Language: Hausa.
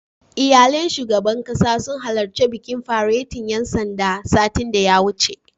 Iyalan shugaban ƙasa sun halarci bikin faretin ƴan sandan, satin da ya wuce.